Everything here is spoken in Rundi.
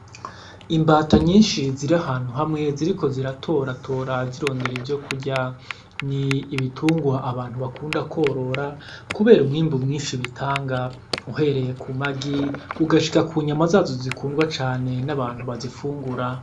Imbata nyinshi ziri ahantu hamwe ziriko ziratoratora zirondera ivyo kurya, n'ibitungwa abantu bakunda kworora kubera umwimbu mwinshi bitanga, uhereye ku magi ugashika ku nyama zazo zikundwa cane n'abantu bazifungura.